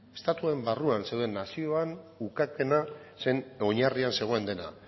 estatuaren barruan zeuden nazioan ukapena zen oinarrian zegoen dena